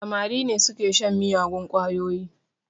Samari ne su ke shan miyagun ƙwayoyi